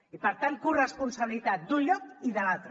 i per tant corresponsabilitat d’un lloc i de l’altre